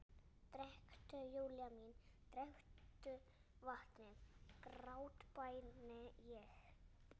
Drekktu, Júlía mín, drekktu vatnið, grátbæni ég.